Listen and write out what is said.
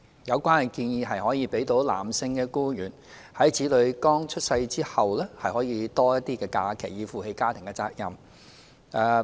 有關建議可讓男性僱員在子女剛出生前後有較多假期，以負起家庭責任。